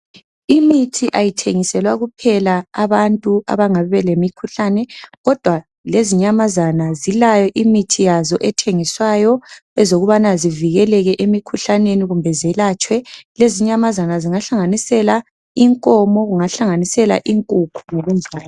Imithi ayithengiselwa kuphela abantu abangabe belemikhuhlane kodwa lezinyamazana zilayo imithi yazo ethengiswayo ezokubana zivikeleke emikhuhlaneni kumbe zelatshwe lezi inyamazana zingahlanganisela inkomo kungahlanganisela inkukhu ngokunjalo.